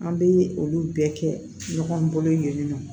An bɛ olu bɛɛ kɛ ɲɔgɔn bolo yen nɔ